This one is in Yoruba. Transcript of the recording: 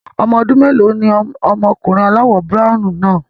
Ọmọ ọdún mélòó ni ọmọkùnrin aláwọ̀ browny náà?